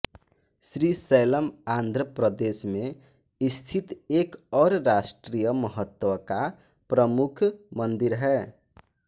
श्रीशैलम आन्ध्र प्रदेश में स्थित एक और राष्ट्रीय महत्व का प्रमुख मंदिर है